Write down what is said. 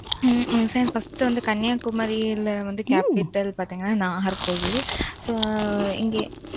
ஹ்ம்ம் sir first uh வந்து, கன்னியாகுமரியிலே வந்து, capital பார்த்தீங்கன்னா, நாகர்கோவில் so